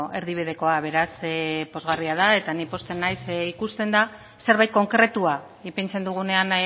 erdibidekoa beraz pozgarria da eta ni posten naiz zeren ikusten da zerbait konkretua ipintzen dugunean